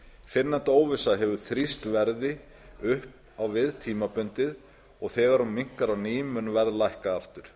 fyrrnefnd óvissa hefur þrýst verði upp á við tímabundið og þegar hún minnkar á ný mun verð lækka aftur